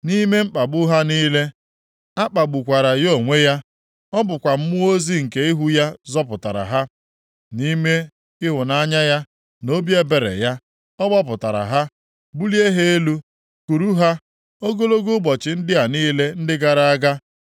Nʼime mkpagbu ha niile, a kpagbukwara ya onwe ya, ọ bụkwa mmụọ ozi nke ihu ya zọpụtara ha. Nʼime ịhụnanya ya na obi ebere ya, ọ gbapụtara ha, bulie ha elu, kuru ha ogologo ụbọchị ndị a niile ndị gara aga.